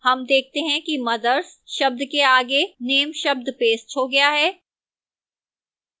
name देखते हैं कि mothers शब्द के आगे name शब्द pasted हो गया है